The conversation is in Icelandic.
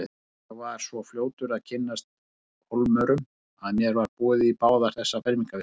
Ég var svo fljótur að kynnast Hólmurum að mér var boðið í báðar þessar fermingarveislur.